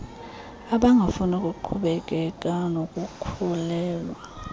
abangafuni kuqhubekeka nokukhulelwa